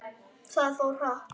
Það fór hratt.